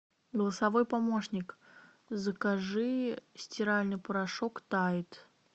голосовой помощник закажи стиральный порошок тайд